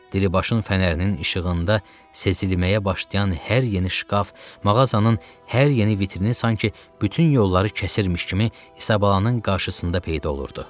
Diribaşın fənərinin işığında sezilməyə başlayan hər yeni şkaf, mağazanın hər yeni vitrini sanki bütün yolları kəsmiş kimi Isabalanın qarşısında peyda olurdu.